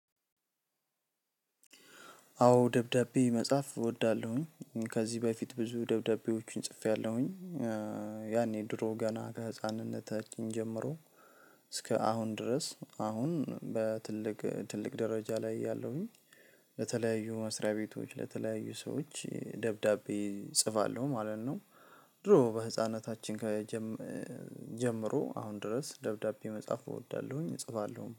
አዎ ደብዳቤ መጻፍ እወዳለሁኝ ከዚህ በፊት ብዙ ደብዳቤዎቹን ጽፌያለሁኝ። ያኔ ድሮ ገና ከህፃንነታችን ጀምሮ። እስከ አሁን ድረስ አሁን በትልቅ ትልቅ ደረጃ ላይ ያለሁኝ። ለተለያዩ መስሪያ ቤቶች ለተለያዩ ሰዎች ደብዳቤ እጽፋለሁ ማለት ነው። ድሮ በህፃናታችን ጀመሩ አሁን ድረስ ደብዳቤ መጽሐፍ እወዳለሁኝ እጽፋለሁ